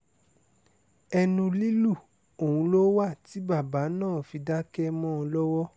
ẹnu lílù ọ̀hún ló wà tí bàbá náà fi dákẹ́ mọ́ ọn lọ́wọ́